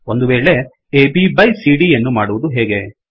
ಒಂದುವೇಳೆ A B byಬೈ C D ಯನ್ನು ಮಾಡುವದು ಹೇಗೆ